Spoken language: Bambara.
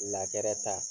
ta